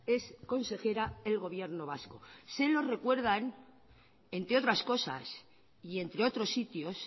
es consejera el gobierno vasco se lo recuerdan entre otras cosas y entre otros sitios